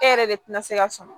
E yɛrɛ de tɛna se ka sɔn